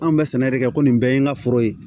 Anw bɛ sɛnɛ de kɛ ko nin bɛɛ ye n ka foro ye